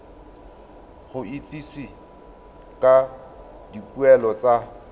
go itsisiwe ka dipoelo tsa